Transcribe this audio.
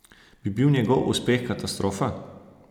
Bi bil njegov uspeh katastrofa?